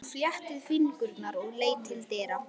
Hún fléttaði fingurna og leit til dyra.